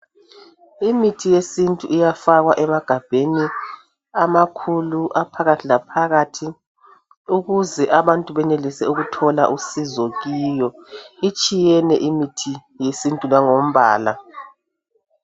Imithi yesintu iyafakwa emagabheni amakhulu, aphakathi la phakathi, ukuze abantu benelise ukuthola usizo kiyo. Itshiyene imithi yesintu langombala.